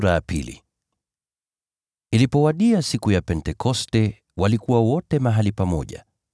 Siku ya Pentekoste ilipowadia, waamini wote walikuwa mahali pamoja.